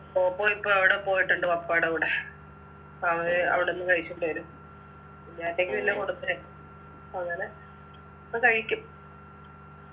പോപ്പോ ഇപ്പോ അവിടെ പോയിട്ടുണ്ട് പപ്പായുടെ കൂടെ അവന് അവിടന്ന് കഴിച്ചിട്ട് വരും കുഞ്ഞാറ്റയ്‌ക്ക് എല്ലാം കൊടുത്തേ അങ്ങനെ ഇപ്പൊ കഴിക്കും